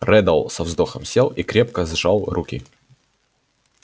реддл со вздохом сел и крепко сжал руки